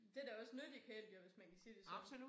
Det da også nyttige kældeyr hvis man kan sige det sådan